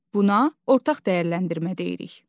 Buna ortaq dəyərləndirmə deyirik.